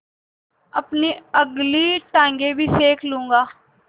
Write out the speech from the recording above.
अपनी अगली टाँगें भी सेक लूँगा